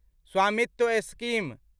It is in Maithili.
स्वामित्व स्कीम